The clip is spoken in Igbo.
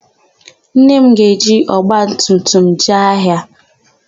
Nne m ga-eji ọgbatumtum jee ahịa.